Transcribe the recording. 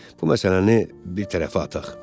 Bu məsələni bir tərəfə aqaq.